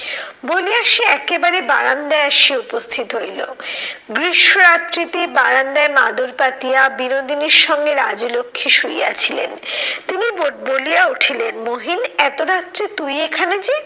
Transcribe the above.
বলিয়া সে একেবারে বারান্দায় আসিয়া উপস্থিত হইলো। গ্রীষ্ম রাত্রিতে বারান্দায় মাদুর পাতিয়া বিনোদিনীর সঙ্গে রাজলক্ষী শুইয়া ছিলেন। তিনি বলিয়া উঠিলেন মহিন এত রাত্রে তুই এখানে যে?